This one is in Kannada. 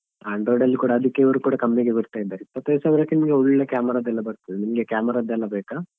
Android ಅಲ್ಲಿ ಕೂಡ ಅದಕ್ಕೆ ಇವ್ರು ಕೂಡ ಕಮ್ಮಿಗೆ ಬರ್ತಾ ಇದ್ದಾರೆ ಇಪ್ಪತ್ತೈದು ಸಾವಿರಕ್ಕೆ ನಿಮ್ಗೆ ಒಳ್ಳೆ camera ದ್ದೆಲ್ಲಾ ಬರ್ತದೇ ನಿಮ್ಗೆ camera ದ್ದೆಲ್ಲ ಬೇಕಾ?